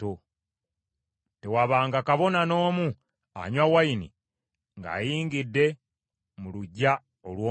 Tewabanga kabona n’omu anywa nvinnyo ng’ayingidde mu luggya olw’omunda.